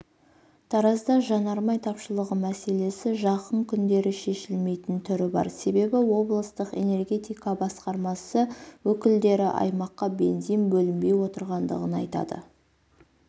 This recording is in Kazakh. таразда жанармай тапшылығы мәселесі жақын күндері шешілмейтін түрі бар себебі облыстық энергетика басқармасы өкілдері аймаққа бензин бөлінбей отырғандығын айтады